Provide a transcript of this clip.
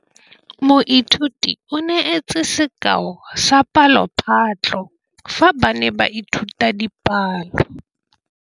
Moithuti o neetse sekaô sa palophatlo fa ba ne ba ithuta dipalo.